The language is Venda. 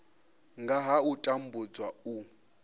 nga ha u tambudzwa u